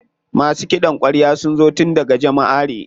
Masu ƙidan kwarya sun zo tun daga Jamaʼare.